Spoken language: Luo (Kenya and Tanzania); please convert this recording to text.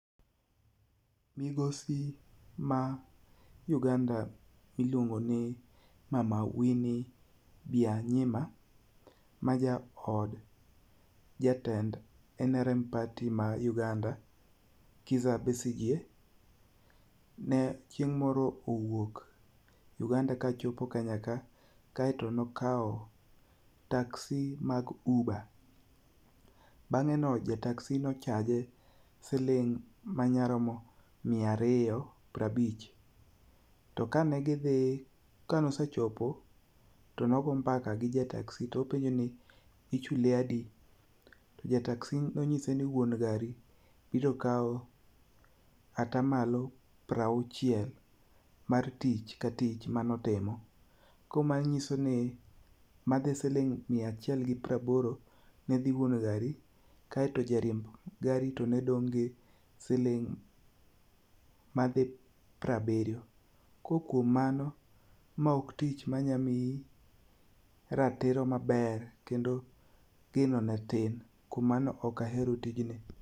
Migosi ma Uganda ma iluon go ni Mama Winnie Bianyima ma jaod jatend NRM party ma Uganda, Kisa Besije, ne chieng' moro owuok Uganda kane ochopo Kenya ka to ne nokawo taxi mag Uber. Bang'e no ja taxi ne o charge siling miya ariyompiero abich. Tomkane gidhi, kane osechopo to ne ogo mbaka gi ja taxi openje ni ichuli adi. No nyise ni wuon gari biro kawo ata malo piero auchiel mar tich ka tich mane otimo koro manyiso ni madhi siling miya achiel gi piero aboro, dhi ne wuon gari kaeto jariemb gari to ne dong' gi siling madhi piero abiriyo. Koro kuom mano mae ok tich manyalo miyi ratiro maber kendo geno ne tin. Koro kuom mano ok ahero tijni.